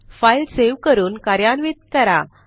file save करून कार्यान्वित करा